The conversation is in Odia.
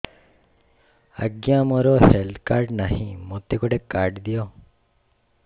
ଆଜ୍ଞା ମୋର ହେଲ୍ଥ କାର୍ଡ ନାହିଁ ମୋତେ ଗୋଟେ କାର୍ଡ ଦିଅ